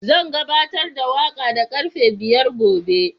Zan gabatar da waƙa da karfe biyar gobe.